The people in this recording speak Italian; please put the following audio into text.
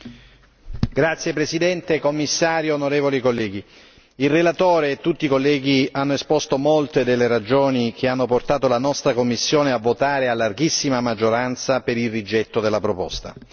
Signor Presidente, signor Commissario, onorevoli colleghi, il relatore e tutti i colleghi hanno esposto molte delle ragioni che hanno portato la nostra commissione a votare a larghissima maggioranza per il rigetto della proposta.